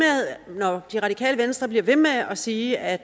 og når det radikale venstre bliver ved med at sige at